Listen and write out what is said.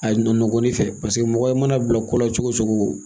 Ayi nɔnɔgɔnin fɛ paseke mɔgɔ mana bila kola cogo cogoo.